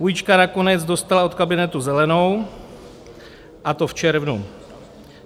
Půjčka nakonec dostala od kabinetu zelenou, a to v červnu.